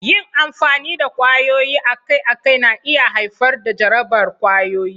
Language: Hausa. Yin amfani da kwayoyi akai-akai na iya haifar da jarabar ƙwayoyi.